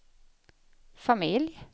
familj